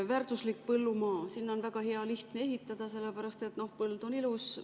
Väärtuslik põllumaa – sinna on väga lihtne ehitada, sellepärast et põld on ilus.